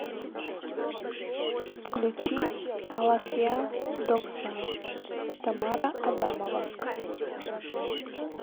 включи алахьа дог са тамара адамова